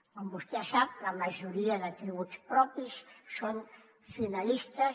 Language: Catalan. com vostè sap la majoria de tributs propis són finalistes